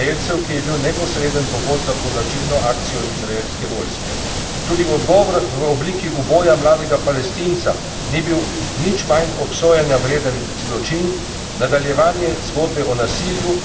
Tudi odgovor v obliki uboja mladega Palestinca ni bil nič manj obsojanja vreden zločin, nadaljevanje zgodbe o nasilju, ki vedno znova nadomešča vero v mir in mirno reševanje sporov.